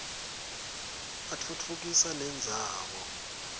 atfutfukisa nendzawo